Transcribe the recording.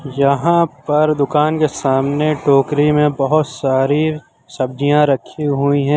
यहां पर दुकान के सामने टोकरी में बहोत सारी सब्जियां रखी हुई हैं।